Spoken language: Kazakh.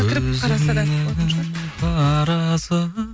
көзімнің қарасы